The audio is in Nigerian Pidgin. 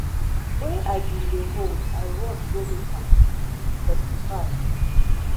wey i bin dey hold i rush go meet am she testify